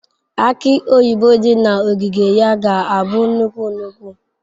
Aki oyibo dị na ogige ya ga-abụ nnukwu nnukwu.